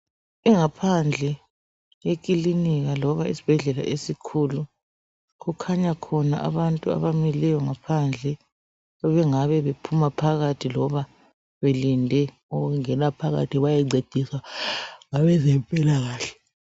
Ingaphandle yekilinika loba isibhedlela esikhulu kukhanya khona abantu abamileyo ngaphandle abangabe bephuma phakathi loba belinde ukungena phakathi bayancedisa abezempikahle.